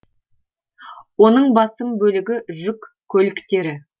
оның басым бөлігі жүк көліктері